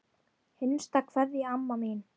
HINSTA KVEÐJA Amma mín.